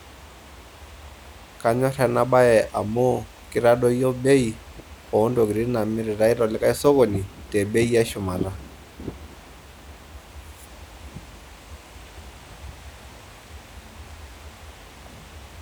Kanyor ena bae amu keitadoyio bei ontokiting' naamiritai te likai sokoni te bei e shumata.